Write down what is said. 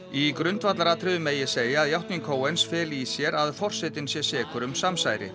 í grundvallaratriðum megi segja að játning feli í sér að forsetinn sé sekur um samsæri